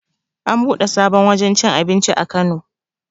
An buɗe sabon wajen cin abinci a kano